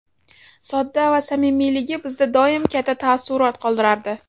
Sodda va samimiyligi bizda doim katta taassurot qoldirardi.